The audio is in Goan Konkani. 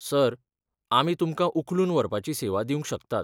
सर, आमी तुमकां उखलून व्हरपाची सेवा दिवंक शकतात.